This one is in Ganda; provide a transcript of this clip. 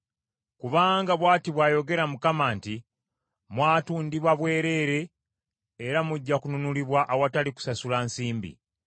Kubanga bw’ati bw’ayogera Mukama nti, “Mwatundibwa bwereere era mujja kununulibwa awatali kusasula nsimbi.”